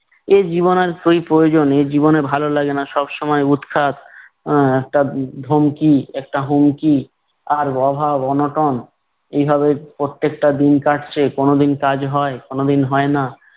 এ জীবন আর কই প্রয়োজন এই জীবনে ভালো লাগে না, সবসময় উৎখাত, আহ একটা ধমকি একটা হুমকি, আর অভাব অনটন, এভাবে প্রত্যেকটা দিন কাটছে কোনোদিন কাজ হয় কোনোদিন হয় না।